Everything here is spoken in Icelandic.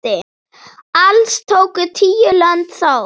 Alls tóku tíu lönd þátt.